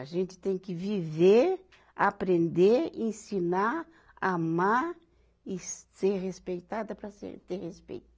A gente tem que viver, aprender, ensinar, amar e ser respeitada para ser, ter respeito.